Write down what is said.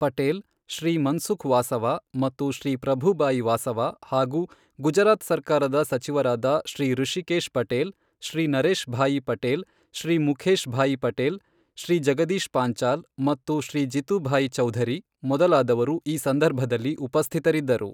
ಪಟೇಲ್, ಶ್ರೀ ಮನ್ಸುಖ್ ವಾಸವ ಮತ್ತು ಶ್ರೀ ಪ್ರಭುಭಾಯಿ ವಾಸವ ಹಾಗು ಗುಜರಾತ್ ಸರ್ಕಾರದ ಸಚಿವರಾದ ಶ್ರೀ ಋಶಿಕೇಶ್ ಪಟೇಲ್, ಶ್ರೀ ನರೇಶ್ ಭಾಯಿ ಪಟೇಲ್, ಶ್ರೀ ಮುಖೇಶ್ ಭಾಯ್ ಪಟೇಲ್, ಶ್ರೀ ಜಗದೀಶ್ ಪಾಂಚಾಲ್ ಮತ್ತು ಶ್ರೀ ಜಿತುಭಾಯಿ ಚೌಧರಿ ಮೊದಲಾದವರು ಈ ಸಂದರ್ಭದಲ್ಲಿ ಉಪಸ್ಥಿತರಿದ್ದರು.